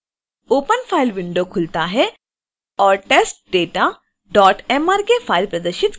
open file window खुलता है और testdatamrk फाइल प्रदर्शित करता है